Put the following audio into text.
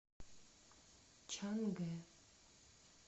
чангэ